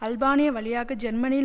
Albania வழியாக ஜெர்மனியில்